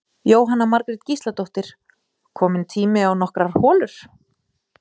Jóhanna Margrét Gísladóttir: Kominn tími á nokkrar holur?